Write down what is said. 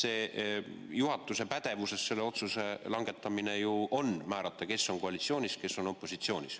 Sest on ju juhatuse pädevuses langetada otsus, määrata, kes on koalitsioonis ja kes on opositsioonis.